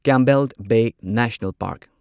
Campbell Bay National park